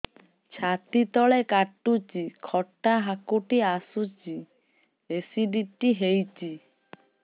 ଛାତି ତଳେ କାଟୁଚି ଖଟା ହାକୁଟି ଆସୁଚି ଏସିଡିଟି ହେଇଚି